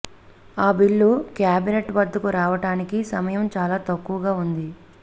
ఆ bill cabinet వద్దకు రావటానికి సమయం చాలా తక్కువగా ఉంది